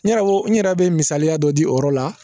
N yɛrɛ ko n yɛrɛ bɛ misaliya dɔ di o yɔrɔ la